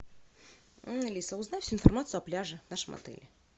алиса узнай всю информацию о пляже в нашем отеле